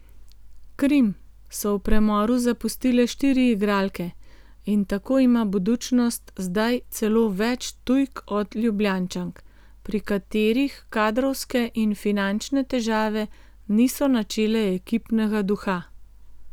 Krim so v premoru zapustile štiri igralke in tako ima Budućnost zdaj celo več tujk od Ljubljančank, pri katerih kadrovske in finančne težave niso načele ekipnega duha.